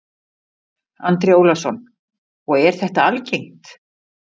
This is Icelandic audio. Andri Ólafsson: Og er þetta algengt?